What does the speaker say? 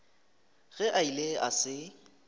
ge a ile a se